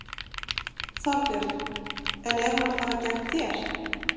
Þorbjörn: En er hún að fara gegn þér?